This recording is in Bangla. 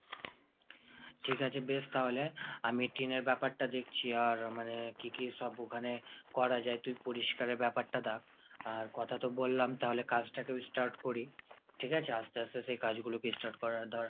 ঠিক আছে বেশ তাহলে আমি টিনের ব্যাপারটা দেখছি আর মানে কী কী সব ওখানে করা যায় তুই পরিষ্কারের ব্যাপারটা দ্যাখ। আর কথা তো বললাম তাহলে কাজটাকেও start করি। ঠিক আছে আস্তে আস্তে সেই কাজগুলোকে start করার ধর